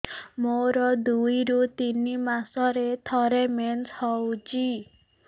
ମୋର ଦୁଇରୁ ତିନି ମାସରେ ଥରେ ମେନ୍ସ ହଉଚି